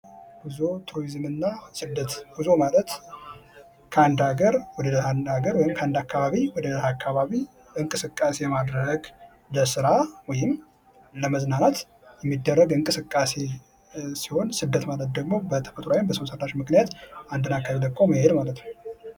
ጉዞ ቱሪዝም እና ስደት ጉዞ ማለት ከአንድ ሀገር ወደ አንድ ሃገር ወይም ከአንድ አካባቢ ወደ ሌላ አካባቢ እንቅስቃሴ ማድረግ ለስራ ወይም ለመዝናናት የሚደረግ እንቅስቃሴ ሲሆን ስደት ማለት ደግሞ በተፈጥሯዊም በሰውሰራሽም ምክንያት አንድ አካባቢ ለቆ መሄድ ማለት ነው።